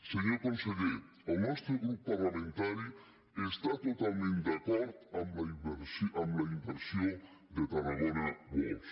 senyor conse·ller el nostre grup parlamentari està totalment d’acord amb la inversió de tarragona world